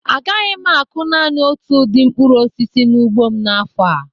A gaghị m akụ naani otu udi mkpụrụ osisi n'ugbo mn'afọ a